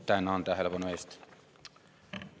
Tänan tähelepanu eest!